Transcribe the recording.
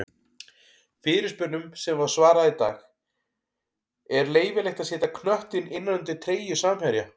Fyrirspurnum sem var svarað í dag:-Er leyfilegt að setja knöttinn innan undir treyju samherja?